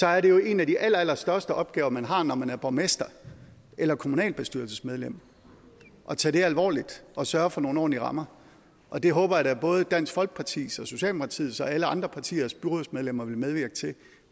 er det jo en af de allerstørste opgaver man har når man er borgmester eller kommunalbestyrelsesmedlem at tage det alvorligt og sørge for nogle ordentlige rammer og det håber jeg da både dansk folkepartis og socialdemokratiets og alle andre partiers byrådsmedlemmer vil medvirke til